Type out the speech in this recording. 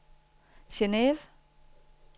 Geneve